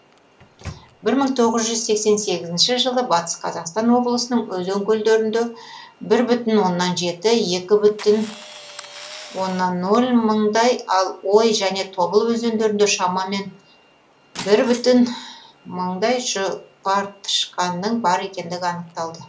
жылы батыс қазақстан облысының өзен көлдерінде мындай ал ой және тобыл өзендерінде шамамен мыңдай жұпартышқанның бар екендігі анықталды